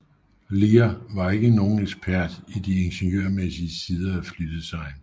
Lear var ikke nogen ekspert i de ingeniørmæssige sider af flydesign